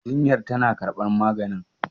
jinyar tana karbar maganin?